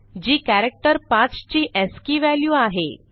जी character 5 ची ASCII value आहे